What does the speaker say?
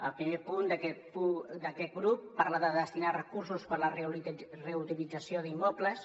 el primer punt d’aquest grup parla de destinar recursos per a la reutilització d’immobles